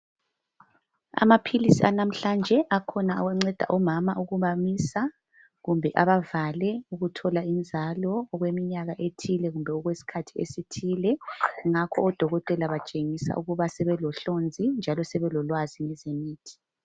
Amaphilisi anamhlanje akhona awanceda omama ukubamisa kumbe abavale ukuthola inzalo okweminyaka ethile kumbe okwesikhathi esithile, ngakho odokotela batshengisa ukuthi sebelohlonzi njalo sebelolwazi ngezemithi.